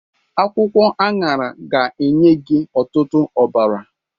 Akwụkwọ aṅara ga-enye gị ọtụtụ ọbara.